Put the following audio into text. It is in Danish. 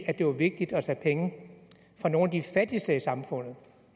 at det var vigtigt at tage penge fra nogle af de fattigste i samfundet